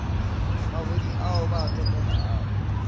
mabodi ao ba a topelelago